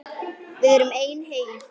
Við erum ein heild!